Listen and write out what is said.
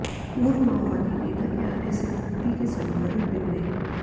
पूर्व माओवादी नेता के आने से खूंटी के समीकरण बिगड़े